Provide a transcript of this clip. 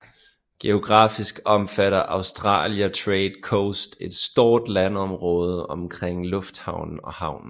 Geografisk omfatter Australia TradeCoast et stort landområde omkring lufthavnen og havnen